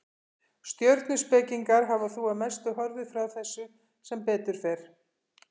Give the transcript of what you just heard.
Stjörnuspekingar hafa þó að mestu horfið frá þessu, sem betur fer.